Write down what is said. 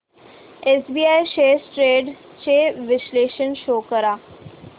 SBI shares trends चे विश्लेषण show कर